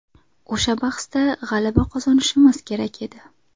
O‘sha bahsda g‘alaba qozonishimiz kerak edi.